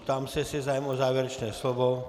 Ptám se, jestli je zájem o závěrečné slovo.